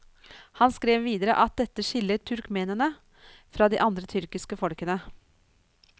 Han skrev videre at dette skiller turkmenene fra de andre tyrkiske folkene.